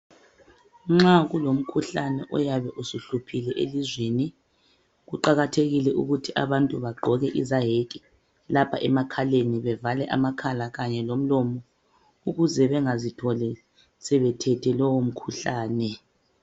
Nxa kuyabe kulomkhuhlane oyabe uhluphile elizweni kuqakathekile ukuthi abantu bagqoke izayeke lapha emakhaleni bevale amakhala kanye lomlomo ukuze bengazitholi sebethe lowo mkhuhlane